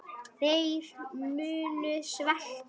Þeir munu svelta.